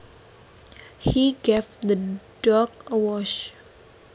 He gave the dog a wash